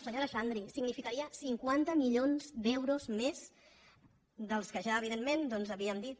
senyora xandri significaria cinquanta milions d’euros més dels que ja evi·dentment doncs havíem dit